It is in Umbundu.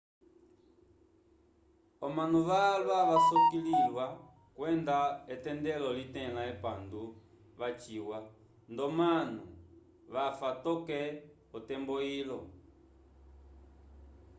omanu valwa vasolokolwiwa kwenda etendelo litẽla epandu vaciwa ndomanu vafa toke otembo ilo